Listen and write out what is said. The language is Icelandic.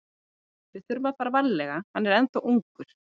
Við þurfum að fara varlega, hann er ennþá ungur.